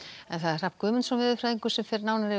Hrafn Guðmundsson veðurfræðingur fer nánar yfir